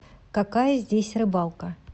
какая здесь рыбалка